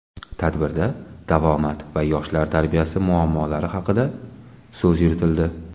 Tadbirda davomat va yoshlar tarbiyasi muammolari haqida so‘z yuritildi.